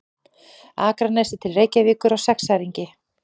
Akranesi til Reykjavíkur á sexæringi.